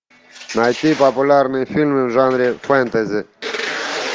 найти популярные фильмы в жанре фэнтези